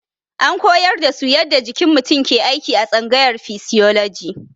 An koyar da su yadda jikin mutum ke aiki a tsangayar fisioloji.